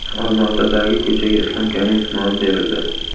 Olmaotadagi ko‘chaga Islom Karimov nomi berildi.